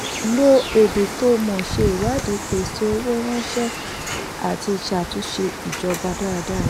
lo èdè tó mọ́ ṣe ìwádìí pèsè owó ránṣẹ́ àti ṣàtúnṣe ìjọba dáradára.